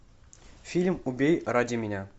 фильм убей ради меня